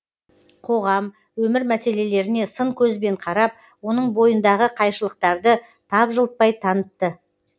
қоғам өмір мәселелеріне сын көзбен қарап оның бойындағы қайшылықтарды тапжылтпай танытты